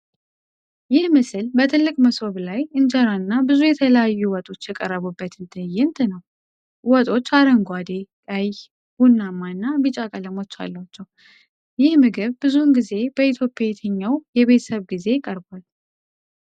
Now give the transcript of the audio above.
ይህ ምስል በትልቅ መሶብ ላይ እንጀራ እና ብዙ የተለያዩ ወጦች የቀረቡበትን ትዕይንት ነው። ወጦቹ አረንጓዴ፣ ቀይ፣ ቡናማ እና ቢጫ ቀለሞች አሏቸው። ይህ ምግብ ብዙውን ጊዜ በኢትዮጵያ የትኛው የቤተሰብ ጊዜ ይቀርባል?